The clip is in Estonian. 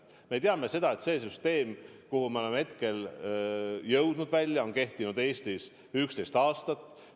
Me teame, et süsteem, kuhu me oleme jõudnud, on kehtinud Eestis 11 aastat.